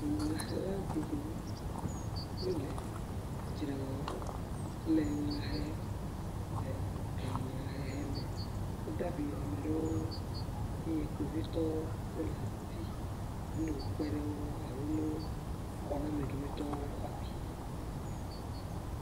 Dunyahela geɖewo wole edzre wɔm le enya hem le edunayahehe me. Wode abi ame ɖewo ŋu eye kpovitɔwo wole afi be ne yeawokpe ɖe wo ŋu alo ne woxɔ na ame kemitɔwo xɔ abi.